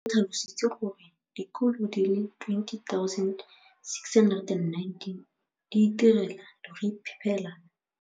O tlhalositse gore dikolo di le 20 619 di itirela le go iphepela barutwana ba le 9 032 622 ka dijo go ralala naga letsatsi le lengwe le le lengwe.